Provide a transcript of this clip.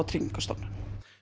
Tryggingastofnun